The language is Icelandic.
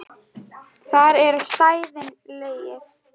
Þar eru stæðin leigð.